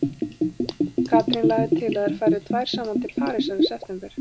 Katrín lagði til að þær færu tvær saman til Parísar í september.